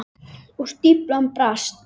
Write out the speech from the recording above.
Og stíflan brast.